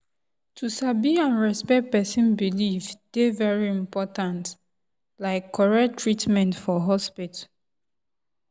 to sabi and respect person belief dey very important like correct treatment for hospital.